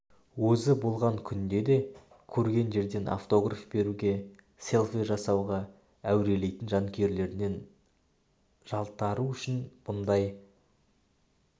өзі болған күнде де көрген жерден автограф беруге селфи жасауға әурелейтін жанкүйерлерінен жалтару үшін бұндай